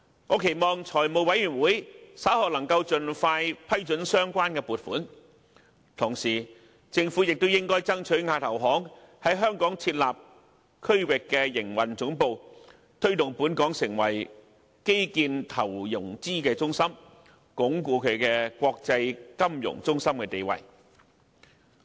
我期望財務委員會稍後能夠盡快批准相關撥款，而政府亦應該爭取亞投行在香港設立區域營運總部，推動本港成為基建投融資中心，鞏固國際金融中心的地位。